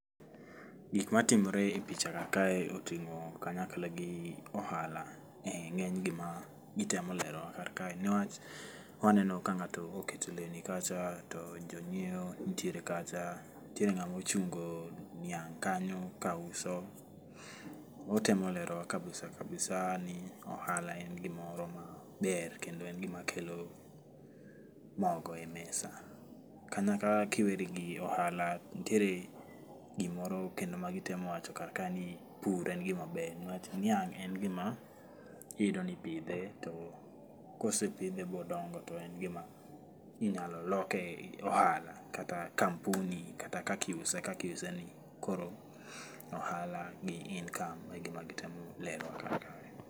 Gik matimore e pichaga kae, oting'o kanyakla gi ohala.E ng'eny gima gitemo lewora kar kae newach waneno ka ng'ato oketo lewni kacha to jonyiewo nitiere kacha. Nitiere ng'ama ochungo niang' kanyo kauso otemo lerowa kabisa kabisa ni ohala en gimoro maber, kendo en gimakelo mogo e mesa. Kanyakla kiweri gi ohala nitiere gimoro kendo ma gitemo wacho kar kae ni pur e gima ber niwach niang' en gima iyudo nipidhe to kosepidhe bodongo to en gima inyalo loke ohala kata kampuni kata kaki iuse kaki iuse ni. Koro ohala gi income e gima gitemo lerowa kar kae